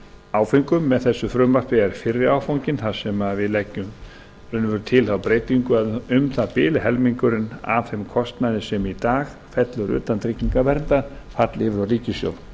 áföngum með þessu frumvarpi er fyrri áfanginn þar sem við leggjum raunverulega til þá breytingu að um það bil helmingurinn af þeim kostnaði sem í dag fellur utan tryggingaverndar falli yfir á ríkissjóð